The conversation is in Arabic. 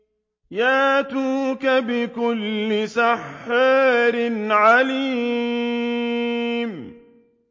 يَأْتُوكَ بِكُلِّ سَحَّارٍ عَلِيمٍ